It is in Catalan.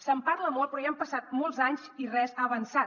se’n parla molt però ja han passat molts anys i res ha avançat